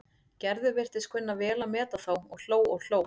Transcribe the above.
Gerður virtist kunna vel að meta þá og hló og hló.